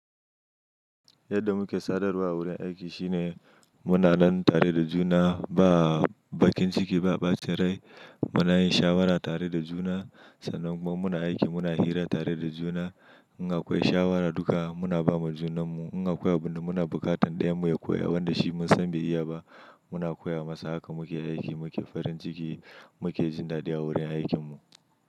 Yadda muke sadarwa a wurin aiki shine muna nan tare da juna ba bakin ciki ba, bace rai. Muna yin shawara tare da juna sannan kuma muna aiki muna hira tare da juna. In akwai shawara duka muna ba ma junanmu. In akwai abin da muna buƙatan ɗaya mu ya koya wanda shi mun san bai iya ba muna koya masa. Haka muke aiki, muke farin ciki, muke jin dadi a wurin aikinmu.